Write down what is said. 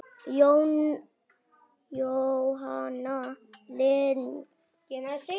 Jóhanna Lind.